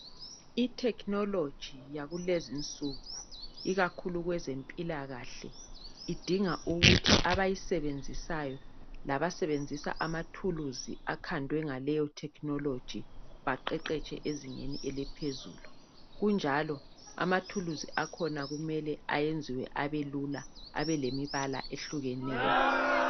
Ithekhinoloji yakulezinsuku ikakhulu kwezempilakahle idinga ukuthi abayisebenzisayo labasebenzisa amathuluzi akhandwe ngaleyo thekhinoloji baqeqetshe ezingeni eliphezulu. Kunjalo amathuluzi akhona mele ayenziwe abelula abelemibala eyehlukeneyo.